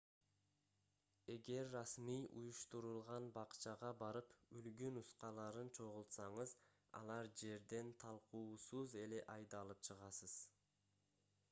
эгер расмий уюштурулган бакчага барып үлгү нускаларын чогултсаңыз ал жерден талкуусуз эле айдалып чыгасыз